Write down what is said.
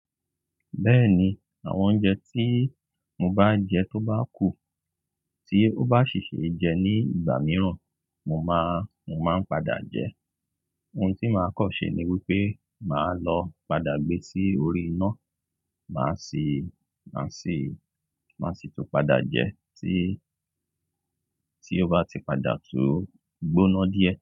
Bẹ́ẹ̀ni, àwọn oúnjẹ tí mo bá jẹ tó bá kù, tí ó bá ṣì ṣe jẹ ní ìgbà mìíràn, mo máa, mo máa ń padà jẹ. Ohun tí màá kọ́ ṣe ni wípé màá lọ padà gbé sí orí iná, màá sì, màá sì, màá sì tún padà jẹ tí, tí ó bá ti padà tó gbóná díẹ̀